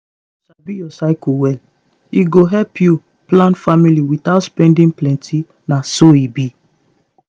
if you sabi your cycle e go help you plan family without spending plenty na so e be.